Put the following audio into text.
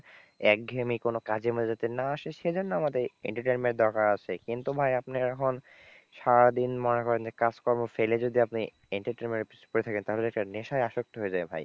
একঘেয়েমী কোন কাজে মাঝে যাতে না আসে সেই জন্য আমাদের entertainment দরকার আছে কিন্তু ভাই আপনি এখন সারাদিন মনে করেন যে কাজকর্ম ফেলে যদি আপনি entertainment পিছনে পরে থাকেন তাহলে নেশায় আসক্ত হয়ে যায় ভাই,